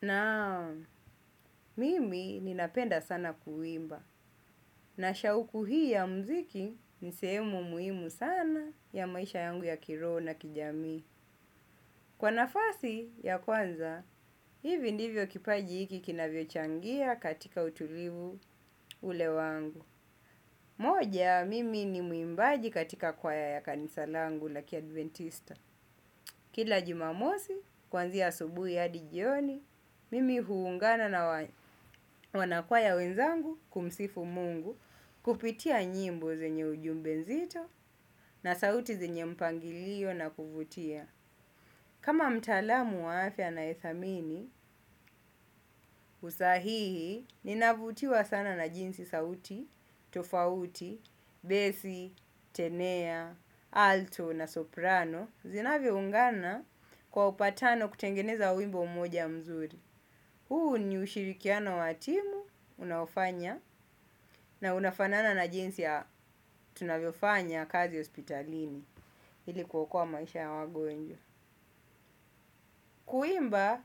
Naam, mimi ninapenda sana kuimba, na shauku hii ya mziki ni sehemu muhimu sana ya maisha yangu ya kiroho na kijamii. Kwa nafasi ya kwanza, hivi ndivyo kipaji hiki kinavyochangia katika utulivu ule wangu. Moja, mimi ni mwimbaji katika kwaya ya kanisa langu la kiadventista. Kila jumamosi, kuanzia asubuhi hadi jioni, mimi huungana na wanakwaya wenzangu kumsifu mungu kupitia nyimbo zenye ujumbe nzito na sauti zenye mpangilio na kuvutia. Kama mtaalamu wa afya anayedhamini, usahihi, ninavutiwa sana na jinsi sauti, tofauti, besi, tenea, alto na soprano, zinavyoungana kwa upatano kutengeneza wimbo moja mzuri. Huu ni ushirikiano wa timu, unaofanya, na unafanana na jinsi ya tunavyofanya kazi hospitalini, ili kuokoa maisha ya wagonjwa. Kuimba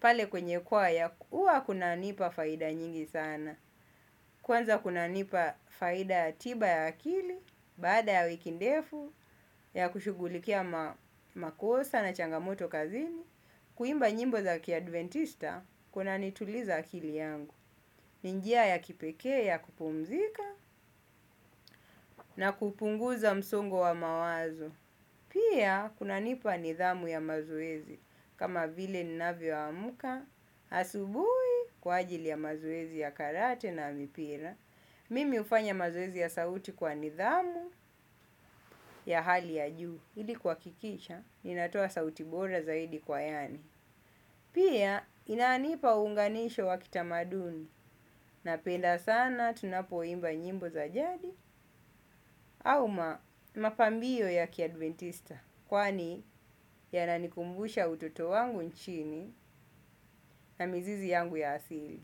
pale kwenye kwaya huwa kunanipa faida nyingi sana. Kwanza kunanipa faida ya tiba ya akili. Baada ya wiki ndefu ya kushughulikia makosa na changamoto kazini kuimba nyimbo za kiadventista kunanituliza akili yangu. Ni njia ya kipekee ya kupumzika na kupunguza msongo wa mawazo. Pia, kunanipa nidhamu ya mazoezi kama vile ninavyo amka, asubuhi kwa ajili ya mazoezi ya karate na mipira. Mimi hufanya mazoezi ya sauti kwa nidhamu ya hali ya juu. Ili kuhakikisha, ninatoa sauti bora zaidi kwa yaani. Pia, inanipa uunganisho wa kitamaduni napenda sana tunapoimba nyimbo za jadi au mapambio ya kiadventista. Kwani yananikumbusha utoto wangu nchini na mizizi yangu ya asili.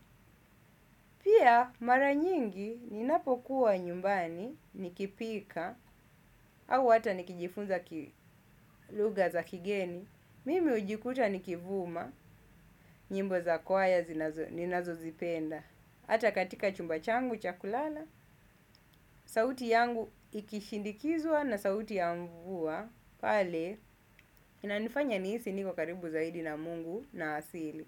Pia mara nyingi ninapokuwa nyumbani nikipika au hata nikijifunza kilugha za kigeni. Mimi hujikuta nikivuma nyimbo za kwaya ninazozipenda. Hata katika chumba changu cha kulala, sauti yangu ikishindikizwa na sauti ya mvua. Pale inanifanya nihisi niko karibu zaidi na mungu na asili.